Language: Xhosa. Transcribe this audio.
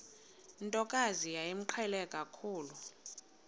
ntokazi yayimqhele kakhulu